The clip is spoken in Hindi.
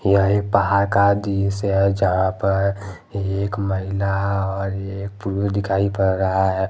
यह एक पहाड़ का दृश्य है जहां पर एक महिला और एक पुरुष दिखाई पड़ रहा है।